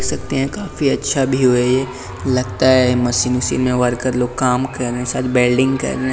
देख सकते है काफी अच्छा व्यू है ये लगता मशीन से इनमें वर्कर लोग काम कर रहे है बेल्डिंग कर रहे है --